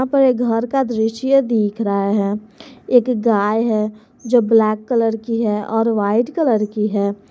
ऊपर एक घर का दृश्य दिख रहा है एक गाय है जो ब्लैक कलर की है और वाइट कलर की है।